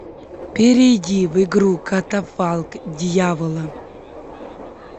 перейди в игру катафалк дьявола